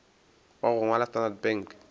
wa go ngwalwa standard bank